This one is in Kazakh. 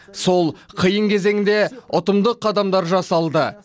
сол қиын кезеңде ұтымды қадамдар жасалды